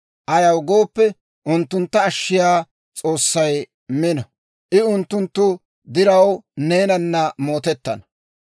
ayaw gooppe, unttuntta ashshiyaa S'oossay mino; I unttunttu diraw neenana mootettana.